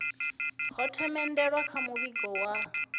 ho themendelwa kha muvhigo wa